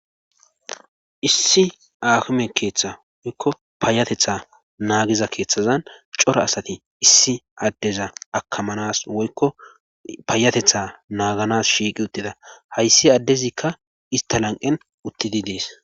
Issi ahume keeththa woykko paayatetha naagiza keeththazan cora asati issi addeza akamanas woykko paayatetha naaganas shiiqi uttida hayssi addezikka ista lanqen uttidi dees.